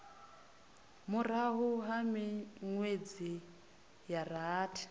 murahu ha minwedzi ya rathi